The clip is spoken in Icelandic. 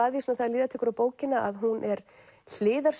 að því þegar líða tekur á bókina að hún er